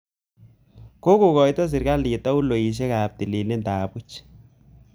Kokoito serkaliit tauloisiek ap tililindo ap puch